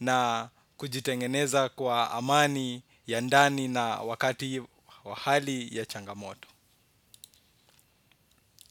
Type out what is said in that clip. na kujitengeneza kwa amani, ya ndani na wakati wa hali ya changamoto.